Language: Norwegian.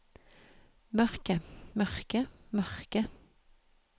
mørke mørke mørke